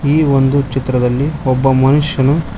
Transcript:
ಈ ಒಂದು ಚಿತ್ರದಲ್ಲಿ ಒಬ್ಬ ಮನುಷ್ಯನು--